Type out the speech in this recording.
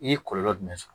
I ye kɔlɔlɔ jumɛn sɔrɔ